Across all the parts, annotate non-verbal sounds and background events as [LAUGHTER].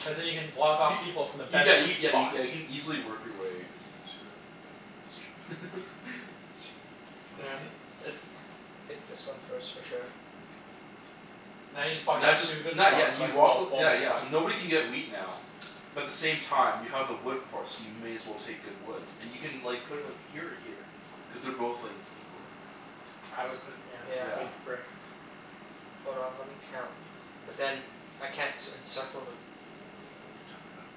Cuz then you can block off Y- people from the y- yeah best you, wheat spot. yeah you can easily work your way. To a yeah, that's true. [LAUGHS] That's true. It's Yeah. the, it's [NOISE] Take this one first, for sure. K. Now you just blocked Now that just too good not, yeah spot. [INAUDIBLE] and you walk th- yeah yeah, spot. so nobody can get wheat now. But the same time you have the wood port, so you may as well take good wood. And you can like put it like here or here. Cuz they're both like equally I would put it, Yeah, I yeah, for Yeah. the think. brick. Hold on, let me count. But then, I can't c- encircle the What are you talking about?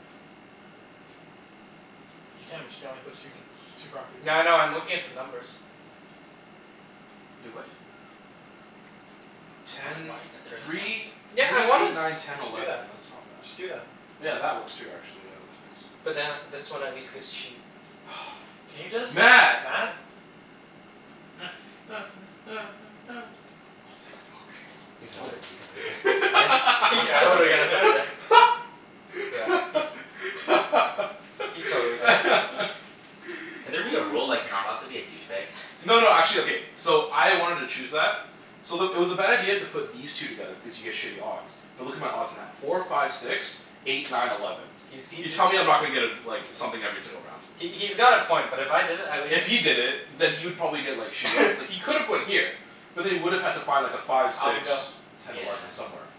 You can, but you can only put two Nothing. two properties here. Yeah, I know. I'm looking at the numbers. Wait, what? Why don- Ten why don't you consider this one? three Yeah, I three wanna eight nine ten Just do that. eleven. That's not Just do bad. that. Yeah, that works too, actually. Yeah, that's nice. But then this one at least gives sheep. [NOISE] Can you [NOISE] just? Mat. Mat! [NOISE] [NOISE] Oh thank fuck. He's gonna put it th- he's gonna put it there. Yeah, Are you he's actually totally putting it gonna put it there. there? [LAUGHS] Yeah, he He totally did it. Can there be a rule like, you're not allowed to [LAUGHS] be a douchebag? No no, actually, okay So I wanted to choose that so the, it was a bad idea to put these two together because you get shitty odds. But look at my odds now. Four five six. Eight nine eleven. He's he he You tell me I'm not gonna get a like something every single round. He he's got a point, but if I did it at least If he did it, then he would probably get like shitty odds. [NOISE] It's like he could have gone here. But then he would have had to find like a five, Alvin, six. go. Ten, Yeah. eleven somewhere.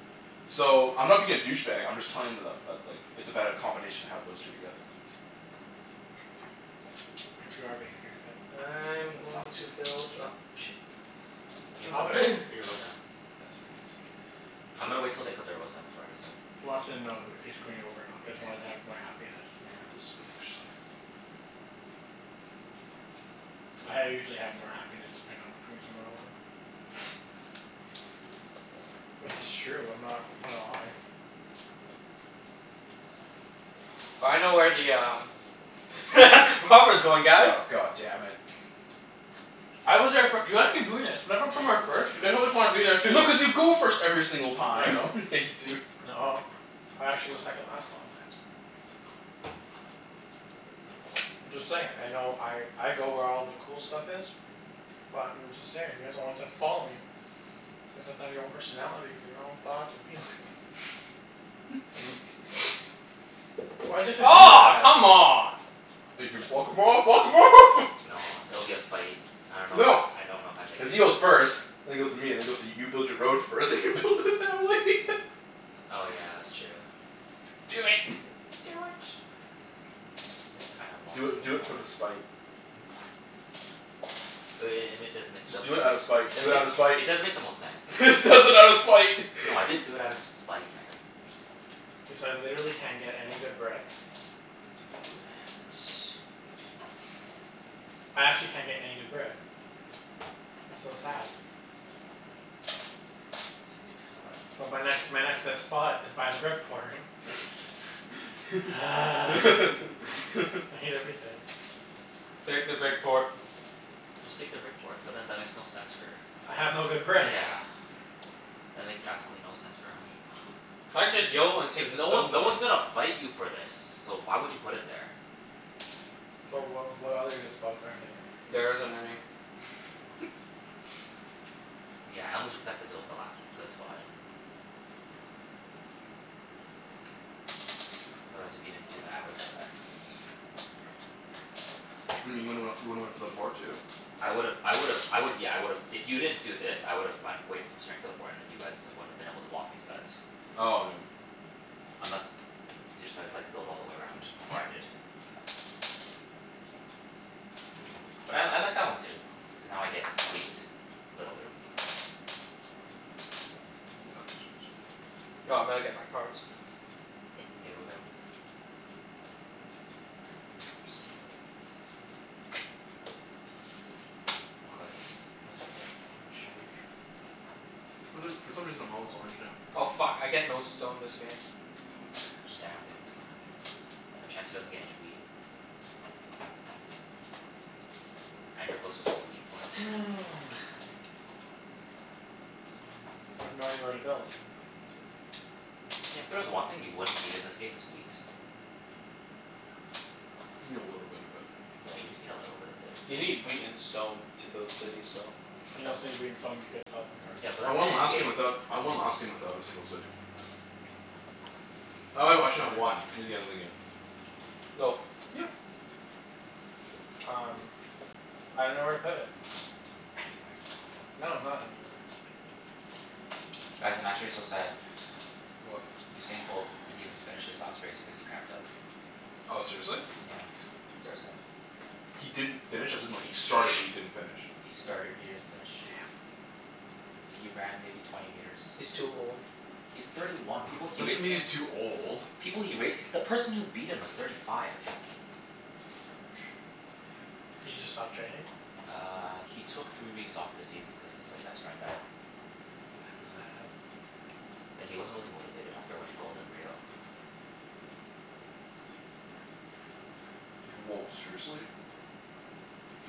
So, I'm not being a douchebag I'm just telling him that that that's like it's a better combination to have those two together. [NOISE] But you are being a douchebag. I'm That's not a going dou- to build douchebag up move. sh- You can Alvin. put [NOISE] put your road down. Yeah, sorry, sorry. [NOISE] I'm gonna wait til they put their roads down before I [NOISE] decide. He wants to know h- if he's screwing you over or not cuz he wants Yeah. half my happiness. Yeah. [INAUDIBLE] [NOISE] I usually have more happiness if I know I'm screwing someone over. [NOISE] Well, it's just true. I'm not gonna lie. [NOISE] I know where the um [LAUGHS] Robber's going, guys. Oh, god damn it. I was there fir- [INAUDIBLE] When I go somewhere first you always wanna be there too. No, cuz you go first every single No, I time. don't. [LAUGHS] Yeah, you do. Nuh- ah. I actually go second last a lot of times. [NOISE] [NOISE] I'm just saying, like I know I I go where all the cool stuff is but I'm just saying, you guys are the ones that follow me. [INAUDIBLE] your own personalities your own thoughts and feelings. [NOISE] [LAUGHS] [LAUGHS] [LAUGHS] Why'd you have to do Aw, that? come on. You can block him off, block him off! No, [LAUGHS] it'll be a fight. I dunno No. if I I dunno if I make Cuz he goes [INAUDIBLE] first and then goes to me, and then goes to you build your road first and you build it that way. [LAUGHS] Oh yeah, that's true. Do it. [NOISE] Do it. [NOISE] It is kind of a long Do it, do it for game the plan. spite. [NOISE] But i- i- it and it does make it Just does do make it it out of spite. Do it out of does make spite! it does make the most sense. [LAUGHS] He does it out of spite! No, I [LAUGHS] didn't do it outta spite, man. K, so I literally can't get any good brick. Doo doo doo and wood. I actually can't get any good brick. It's so sad. Six [NOISE] ten eleven But my next my next [INAUDIBLE] best spot is by the brick port. [LAUGHS] [NOISE] I [LAUGHS] hate [LAUGHS] everything. [NOISE] Take the brick port. Just take the brick port. But then that makes no sense for I have no good brick. Yeah. That makes absolutely no sense for him. I'd just [INAUDIBLE] and take Cuz the no stone one no port. one's gonna fight you for this. So why would you put it there? But Yeah. wh- what other good spots are there? There isn't any. [LAUGHS] [LAUGHS] Yeah, I only took that cuz it was the last good spot. Otherwise, if you didn't do that I would've done that. [NOISE] [NOISE] What do you mean you would've went, you would've went for the port too? I would've I would've I would've, yeah, I would've, if you didn't do this, I would've went wait straight for the port and then you guys wouldn't have been able to block me for that. Oh no, yeah. Unless you decided like, build all the way around before I did. But I I like that one too. Cuz now I get wheat. Little bit of wheat. Yeah, that makes sense. [NOISE] No, I'm gonna get my cards. Okay, go get 'em. [INAUDIBLE] What color are you? I always forget. Orange. [INAUDIBLE] For th- for some reason I'm always orange now. Oh fuck, I get no stone this game. Who cares? Yeah, I don't get any stone either. But Chancey doesn't get any wheat. And you're closest to the wheat port. [LAUGHS] Mm. I have no idea where to build. Yeah, if there was one thing you wouldn't need in this game, it's wheat. You need a little bit of it. Yeah, you just need a little bit of it. A You n- need wheat and stone to build cities, though. And you That's also need wheat and stone to get a development card. Yeah, but I that's won the end last game without, game. That's I won last end game game. without a single city. I Oh wait, actually I had [NOISE] one [INAUDIBLE] near the end of the game. [NOISE] Go. Yeah. Um I dunno where to put it. [NOISE] Anywhere. No, not anywhere. Guys, I'm actually so sad. What? Usain Bolt didn't even finish his last race cuz he cramped up. Oh, seriously? Yeah. So sad. He didn't finish? As in like, he started but he didn't finish? He started. He didn't finish. Damn. He ran maybe twenty meters. He's too old. He's thirty one. No, People it he doesn't raced mean he's against too old. People he raced, the person who beat him was thirty five. Ouch. He just stopped training? Uh, he took three weeks off this season cuz his like best friend died. That's Mm. sad. And he wasn't really motivated after winning gold in Rio. Woah, seriously?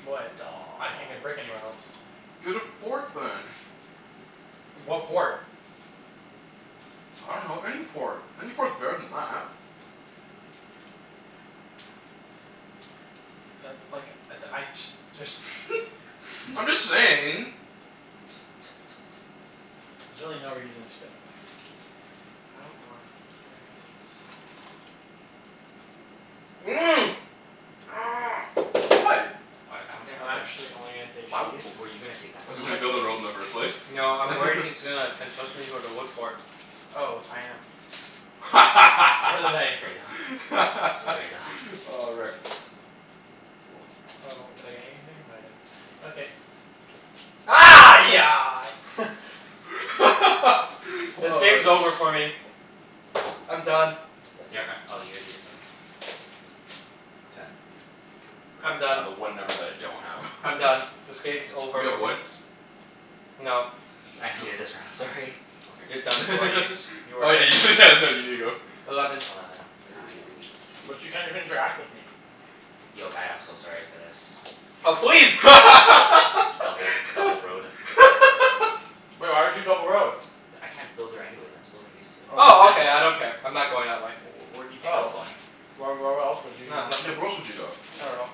What? I can't get brick Daw anywhere else. Get a port then. [NOISE] What port? I dunno, any port. Any port's better than that. But like, I d- I just just [NOISE] [LAUGHS] I'm just saying. T- t- t- t- There's really no reason to get it. [NOISE] I don't wanna, how am I gonna do this? [NOISE] What? What? I don't get I'm how they're actually only gonna take Why w- sheep. were you gonna take that spot? Cuz he's gonna build a road in the first place? No, I'm worried [LAUGHS] he's gonna consistently go to wood port. Oh, I am. [INAUDIBLE] nice. Straight up. Straight up. [LAUGHS] Oh, wrecked. Four. Oh, did I get anything? No, I didn't. I did. Okay. [NOISE] [LAUGHS] [LAUGHS] This Oh, game's that's nice. over for me. I'm done. [INAUDIBLE] You're g- oh, you already did something? Ten. I'm I got done. the one number that I don't have. I'm done. [LAUGHS] This game's over Anybody have for me. wood? No. I hated this No? round, Sorry. You're done, Okay. poor Ibs. [LAUGHS] You are Oh yeah you [LAUGHS] you did go. Eleven. Eleven. I Hey. get wheat. Gee. But you can't even interact with me. Yo Mat, I'm so sorry for this. Oh please! Double double road. [LAUGHS] Woah, why'd you double road? D- I can't build there anyways. I'm still building these two. Oh, Oh, okay. you I don't [INAUDIBLE] care. I'm not going that way. W- w- where do you think I was Oh. going? Why, wh- where else would he Nah, wanna Yeah, nothing. where else would you go? I dunno.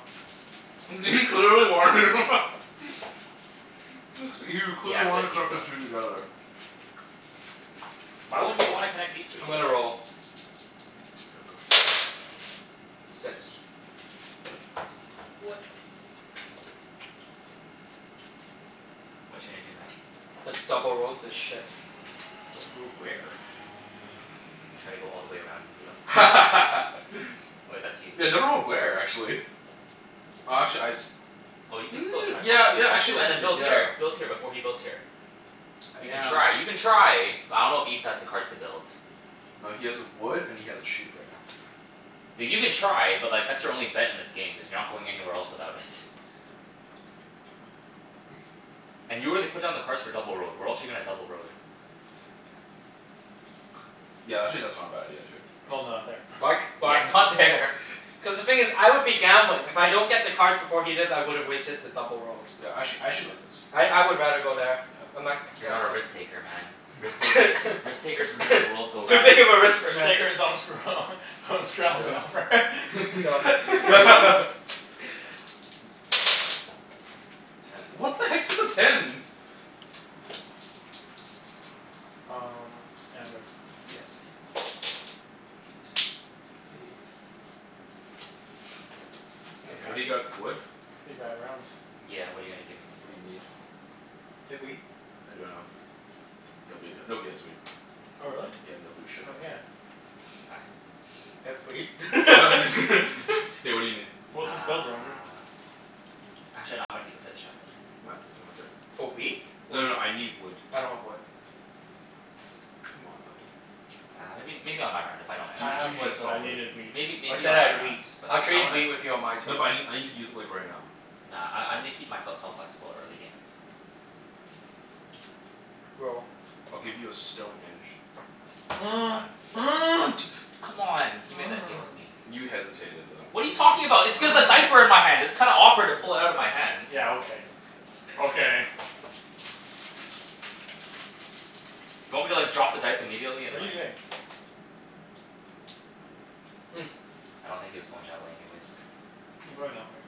[LAUGHS] He clearly wanted him. [LAUGHS] [LAUGHS] Looks like, he Yeah, clearly I'm wanted good. [INAUDIBLE] You can go. together. [NOISE] Why wouldn't you wanna connect these three I'm gonna together? roll. [NOISE] Go. Six. Whatcha gonna do, Mat? I double road this shit. Double road where? He's gonna try to go all the way around and beat him. One two. [LAUGHS] Wait, that's you. Yeah, double road where, actually? [NOISE] Oh, actually I s- Oh, you can still Mm, try. Once yeah you yeah, once actually you and then actually build yeah here build here, before he builds here. You can Yeah. try. You can try. But I dunno if Ibs has the cards to build. No, he has a wood and he has a sheep right now. Th- you can [NOISE] try, but like, that's your only bet in this game cuz you're not going anywhere else without it. [NOISE] [NOISE] And you already put down the cards for double road. Where else you gonna double road? Yeah, that's actually not a bad idea too. No no, not there. Why c- [LAUGHS] Yeah, why not there. Cuz the thing is I would be gambling. If I don't get the cards before he does, I would've wasted the double road. Yeah, actually, I actually like this. I I would rather go there. I'm not You're not a contesting. risk taker, man. Risk takers, risk takers make the [NOISE] world It's go too round. big of a risk, Risk man. takers don't screw [LAUGHS] Go. Go. [INAUDIBLE] [LAUGHS] [LAUGHS] [LAUGHS] Ten. What the heck's with the tens? Um, yeah, I'm good. Yes man. Eight. Hey K, I can't anybody got wood? Pretty bad rounds. Yeah, what are you gonna give me? What do you need? You have wheat? I don't have wheat. Nobody h- nobody has wheat. Oh, really? Yeah, nobody should Oh, have wheat. yeah. I have wheat. [LAUGHS] [LAUGHS] [LAUGHS] K, what do you need? Well, What if do he's [INAUDIBLE] you need? Uh Actually no, I'm gonna keep it for this round though, thank you. Mat? Do you wanna trade? For wheat? No no Wood. no, I need wood. I don't have wood. Come on, Alvin. Uh, maybe maybe on my round, if I don't end Do I up do have using me it. a wood, but I solid. needed wheat. Maybe I maybe said on I my had wheat. rounds but I'll I trade wanna wheat with you on my turn. No but I n- I need to use it like, right now. Nah, I I need to keep my fel- self flexible, early game. Roll. I'll give you a stone and a sheep. Done. Um two, [NOISE] come on, he made that deal with [NOISE] me. You hesitated though. What are you talking about? It's cuz the dice were in [NOISE] my hand. It's kinda awkward to pull it outta my hands. Yeah, okay. Okay. [NOISE] Do you want me to like drop the dice immediately What are and you like doing? Mm. I don't think he was going that way anyways. [NOISE] I'm going that way.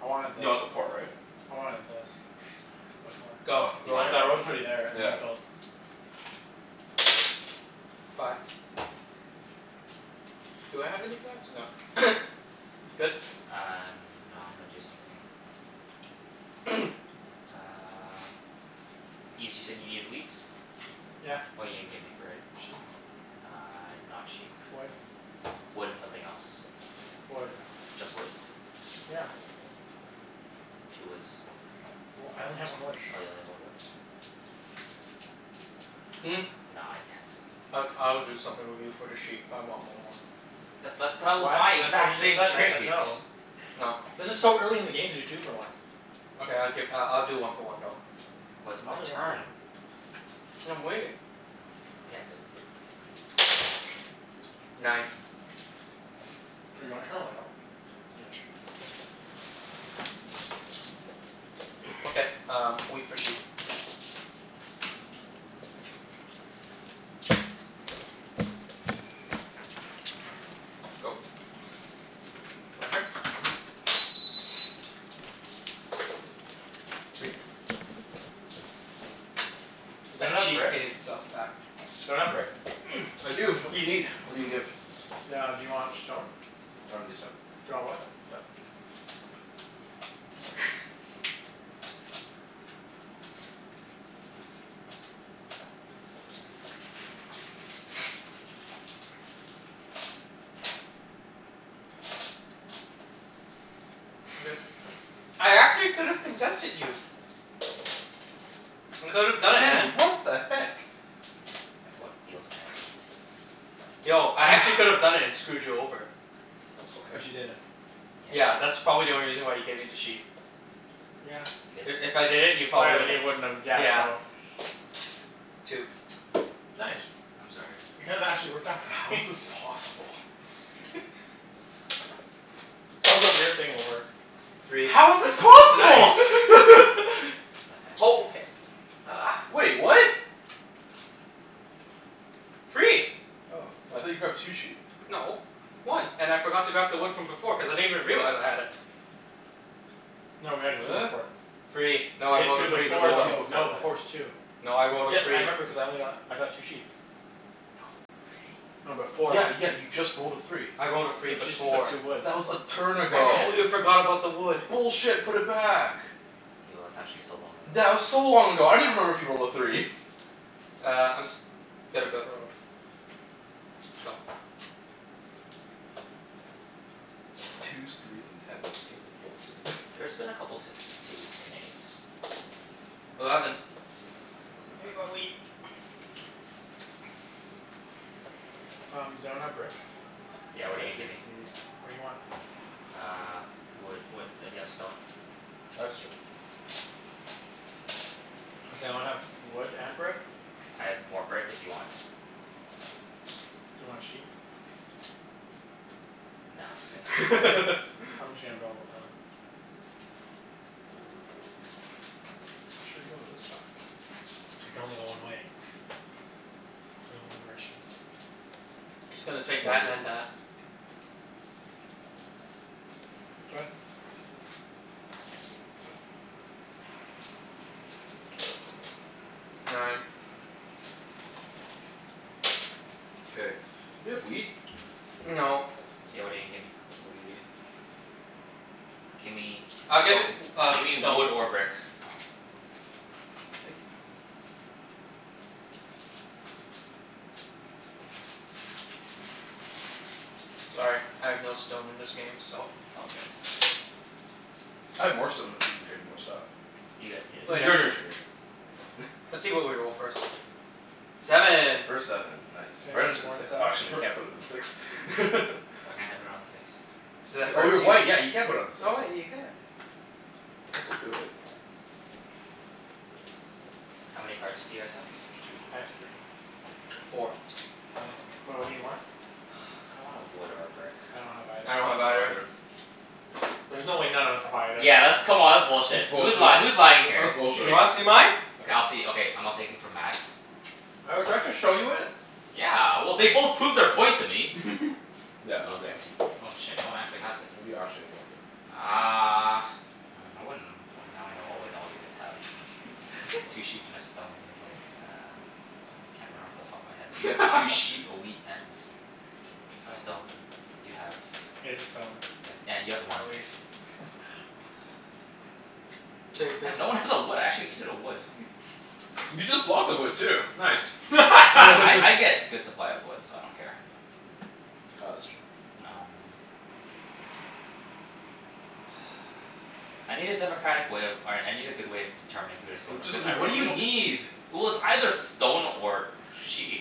I wanted this. You want the port, right? I wanted this [LAUGHS] before. Go. Oh. You Roll. Cuz wanted what before? Yeah. I [INAUDIBLE] Fi- Do I have any fives? No. [NOISE] Good? Uh, no, I'm gonna do something. [NOISE] [NOISE] Uh Ibs, you said you needed wheat? Yeah. What are you gonna give me for it? Sheep? Ah, not sheep. Wood? Wood and something else. Wood. Just wood? Yeah. Two woods. Well, I only have one wood. Oh, you only one wood? Mm. Ah, no, I can't. I g- I would do something with you for the sheep, but I want one more. That's th- that was my What? That's what he exact just same said and I said trade. no. No. This is so early in the game to do two for ones. Okay, I'll gi- I'll do one for one though. Well I'll it's my do one for turn. one. And I'm waiting. K, I'm good. Nine. [NOISE] Do you wanna turn a light on? Yeah, sure. Okay, [NOISE] um wheat for sheep. Go. [NOISE] My turn? Mhm. Three. Is that That not a sheep brick? paid itself back. Does anyone have brick? [NOISE] I do. What do you need? What are you gonna give? Ah, do you want stone? I don't need a stone. Do you want wood? Done. Sorry. [LAUGHS] [NOISE] [NOISE] I'm good. [NOISE] [NOISE] I actually could have contested you. I could have done it, man. Ten! What the heck? That's how it feels, Chancey. That's Yo, how I it feels. actually [NOISE] could've done it and screwed you over. Okay. But you didn't. Yeah, Yeah, but that's probably you the didn't. only reason why you gave me the sheep. Yeah. You If good? if I did it, you Oh probably yeah, then wouldn't you wouldn't have, yeah, Yeah. so Two. Nice. I'm sorry. That kind of actually worked out for How me. is this possible? [NOISE] [NOISE] That was a weird thing to work. Three. How is this [LAUGHS] possible? Nice. [LAUGHS] What Oh, the heck? okay. Uh. Wait, what? Three. Oh, I thought you grabbed two sheep? No. One. And I forgot to grab the wood from before cuz I didn't even realize I had it. No, we had a two to four. [NOISE] Free. You No, I had rolled a two three before [INAUDIBLE] before. two though. before No, before's that. two. No, I rolled a Yes, I three. remember cuz I only got, I got two sheep. No, three. No, before Yeah yeah, you just rolled a three. I rolled a But free you just picked up before. two woods. That was a turn I ago. Yeah. completely forgot about the wood. Bullshit. Put it back. Yo, that's actually so long ago. That was so long ago. I don't even remember if you rolled a three. [LAUGHS] Uh, I'm s- gonna build a road. Go. [NOISE] Twos, threes and tens. This game is bullshit. [LAUGHS] There's been a couple sixes, twos and eights. Eleven. I can work with that. [NOISE] [NOISE] Um, does anyone have brick? I do. Yeah, what are you What gonna do you give me? need? What do you want? Uh, wood wha- do you have stone? I have stone. Does anyone have wood and brick? I have more brick if you want? Do you want sheep? Nah, it's okay. Okay. I'm [LAUGHS] just gonna build a road. Which way are you going this time? [NOISE] I can only go one way. Only one direction. Just gonna take One that dir- and that. [NOISE] Go ahead. Chancey. [NOISE] Nine. [NOISE] K, do you have wheat? No. Yeah, what are you gonna give me? What do you need? [NOISE] Gimme I'll give Stone? i- uh, Gimme stone. wood or brick. Oh. Thank you Mat. Sorry, I have no stone in this game, so It's all good. I have more stone if you can trade me more stuff. You got yo- Y- your Later. turn, your turn. Let's see what we roll, first. Seven. Seven. First seven. Nice. Anyone Right have onto the more than six. Oh, seven? actually no, you We're can't put it on six. [LAUGHS] Why can't I put it on the six? Oh, you're white. [INAUDIBLE] Yeah, you can put it on the six. Oh wait, you can. This'll do it. How many cards do you guys have? Two. I have three. Three? Four. I don't, well, what do you want? [NOISE] Kinda want a wood or a brick. I don't have either. I don't I have don't have either. either. There's no way none of us have either. Yeah, that's, come on, that's That's bullshit. Who's lying? bullshit. Who's lying here? That's Do you bullshit. wanna [LAUGHS] see mine? Okay, I'll see, okay, I'm not taking from Mat's. [NOISE] Oh, do I have to show you it? Yeah, well, they both proved their point to me. [LAUGHS] Yeah, nobody has Okay. them. Oh shit, no one actually has it. What do you actually want then? Uh Hmm, I wouldn't, well, now I know all what all you guys have. [LAUGHS] Two [LAUGHS] sheep and a stone. You [NOISE] have like, a I can't remember off the top of my [LAUGHS] head, but you have two sheep, [LAUGHS] a wheat, and [NOISE] a stone. Stone. You have He has a stone. have, yeah, you have a At ones least. [LAUGHS] Takers. Damn, no one has a wood. I actually needed a wood. [LAUGHS] You just blocked the wood, too. Nice. Well [LAUGHS] I I [LAUGHS] [LAUGHS] get good supply of wood, so I don't care. Ah, that's true. Um [NOISE] I need a democratic way of, all right, I need a good way of determining who to steal Oh from, just cuz I wh- re- I what do you really don't need? Well, it's either stone or or sheep.